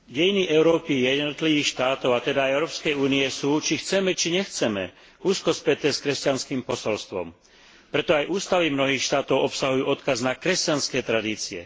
Dejiny Európy, jej jednotlivých štátov, a teda aj Európskej únie sú, či chceme, či nechceme, úzko späté s kresťanským posolstvom. Preto aj ústavy mnohých štátov obsahujú odkaz na kresťanské tradície.